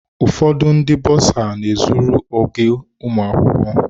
Ụfọdụ ndị bọsa na-ezukọrọ ego ụmụ akwụkwọ.